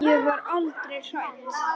Ég var aldrei hrædd.